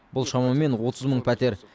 бұл шамамен отыз мың пәтер